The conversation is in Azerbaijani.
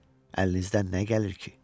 Əlinizdən nə gəlir ki?